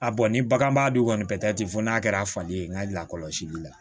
A ni baganmara dun kɔni tɛ fɔ n'a kɛra fali ye n ka lakɔlɔsili la